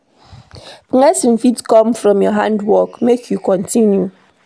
Blessing fit come from your hard work, make you continue.